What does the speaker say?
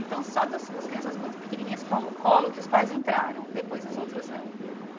Então, só dos as crianças muito pequenininhas que ficavam no colo que os pais entraram, hum depois os outros não.